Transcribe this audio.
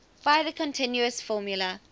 by the continuous formula